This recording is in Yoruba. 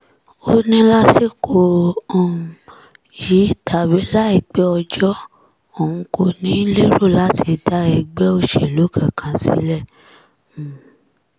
ó ní lásìkò um yìí tàbí láìpẹ́ ọjọ́ òun kò ní í lérò láti dá ẹgbẹ́ òṣèlú kankan sílẹ̀ um